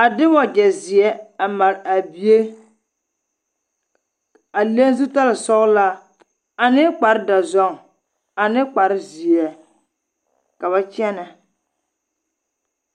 a de wagyɛ zeɛ a mare a bie a leŋ zutare sɔgelaa ane kpare dɔzɔŋ ane kpare zeɛ ka ba kyɛnɛ.